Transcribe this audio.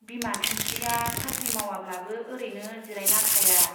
बिमा धोनस्रीया साख्रि मावाब्लाबो औरैनो जिरायना थाया।